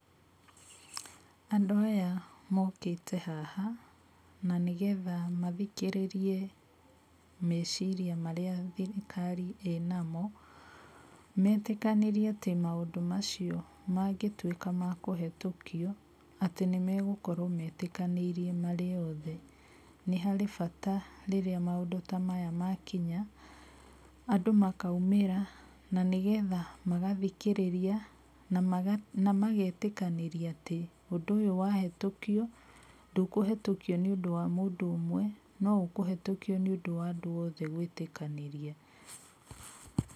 Andũ aya mũketĩ haha, na nĩgetha mathikerĩriĩ meciria marĩa thirikari ĩnamũ, metĩkanĩriĩ atĩ maũndũ macio magĩtuĩka makũhetũkio, atĩ nĩmegũkorwo metĩkanĩiriĩ marĩ othe. Nĩ harĩ bata rĩrĩa maũndũ ta maya makinya, andũ makaumĩra na nĩgetha magathikerĩria na magetĩkanĩria atĩ, ũndũ ũyũ wahetũkio, ndũkũhĩtũkio nĩ ũndũ wa mũndũ ũmwe, no ũkũhetũkio nĩ ũndũ wa andũ othe gwetĩkanĩria.